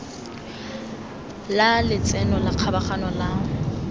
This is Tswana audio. la letseno la kgabaganyo la